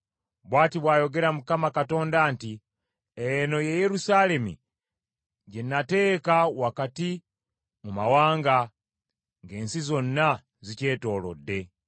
“Bw’ati bw’ayogera Mukama Katonda nti, Eno ye Yerusaalemi gye nateeka wakati mu mawanga, ng’ensi zonna zigyetoolodde.